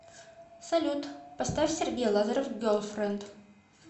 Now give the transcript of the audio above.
салют поставь сергей лазарев герлфренд